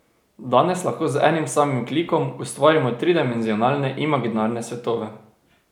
Danes lahko z enim samim klikom ustvarimo tridimenzionalne imaginarne svetove...